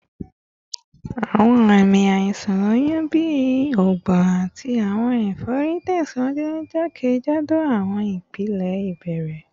Awọn aami aiṣan oyun bi ọgbun ati awọn efori tẹsiwaju jakejado awọn ipele ibẹrẹ